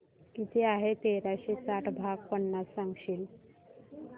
किती आहे तेराशे साठ भाग पन्नास सांगशील